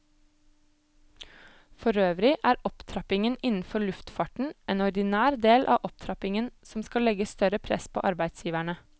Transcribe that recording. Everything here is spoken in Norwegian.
Forøvrig er opptrappingen innenfor luftfarten en ordinær del av opptrappingen som skal legge større press på arbeidsgiverne.